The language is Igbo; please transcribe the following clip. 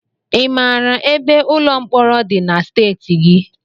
Ị mara ebe ụlọ mkpọrọ dị na steeti gị?